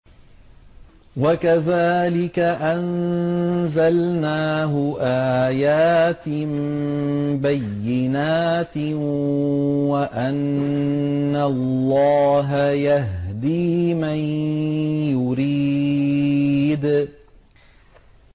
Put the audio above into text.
وَكَذَٰلِكَ أَنزَلْنَاهُ آيَاتٍ بَيِّنَاتٍ وَأَنَّ اللَّهَ يَهْدِي مَن يُرِيدُ